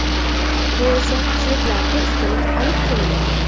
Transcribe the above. Bu esa shvedlarga ustunlik olib keldi.